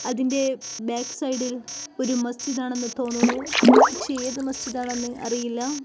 അതിന്റെ ബാക്ക് സൈഡിൽ ഒരു മസ്ജിദ് ആണെന്ന് തോന്നുന്നു പക്ഷേ ഏതു മസ്ജിദ് ആണെന്ന് അറിയില്ല.